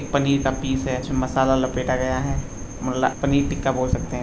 एक पनीर का पीस है जिसमे मसाला लपेटा गया है मला पनीर टिक्का बोल सकते --